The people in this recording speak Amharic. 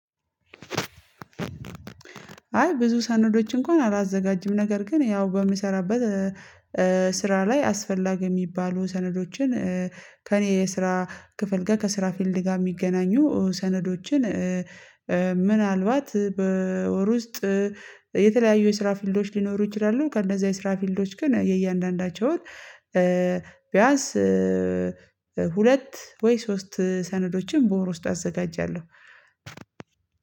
አይ ብዙ ሰነዶች እንኳን አላዘጋጅም ነገር ግን ያው በምሰራበት ስራ ላይ አስፈላጊ የሚባሉ ሰነዶችን ከእኔ የስራ ክፍል ጋር ከስራ ፊልድ ጋር የሚገናኙ ሰነዶችን ምናልባት በወር ውስጥ የተለያዩ የስራ ፊልዶች ሊኖሩ ይችላሉ ከእንዛ የስራ ፊልዶች ግን የእያንዳንዳቸውን ቢያንስ ሁለት ወይ ሶስት ሰነዶችን በወር ውስጥ አዘጋጃለሁ።